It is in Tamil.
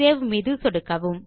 சேவ் மீது சொடுக்கவும்